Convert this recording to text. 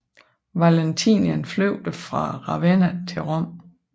Valentinian flygtede fra Ravenna til Rom